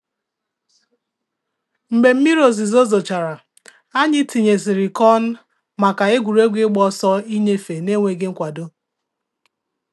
Mgbe mmiri ozizo zochara, anyị tinye sịrị kọn maka egwuregwu ịgba ọsọ ịnyefe n'enweghị mkwado